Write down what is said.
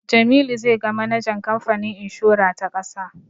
Jamilu zai ga manajan kamfanin inshora ta ƙasa.